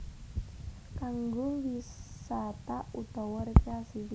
Kanggo wisata utawa rekreasi